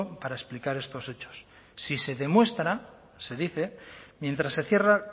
para explicar estos hechos si se demuestra se dice mientras se cierra